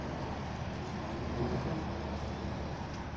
Kioga